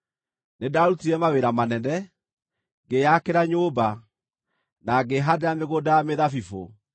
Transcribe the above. Nĩndarutire mawĩra manene: Ngĩĩyakĩra nyũmba, na ngĩĩhaandĩra mĩgũnda ya mĩthabibũ.